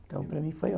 Então, para mim foi